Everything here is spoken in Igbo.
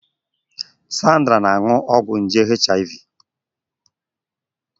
Sandra na-aṅụ ọgwụ nje HIV